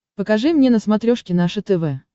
покажи мне на смотрешке наше тв